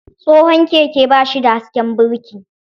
Tsohon keke ba shi da hasken birki.